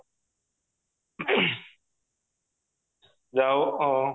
ଆଉ ଅ